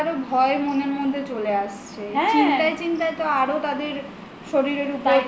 ভয় মনের মধ্যে চলে আসছে চিন্তায় চিন্তায় তো আরো তাদের শরীরের ওপর